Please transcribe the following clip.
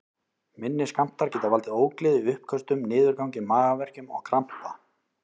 Minni skammtar geta valdið ógleði, uppköstum, niðurgangi, magaverkjum og krampa.